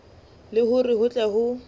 le hore ho tle ho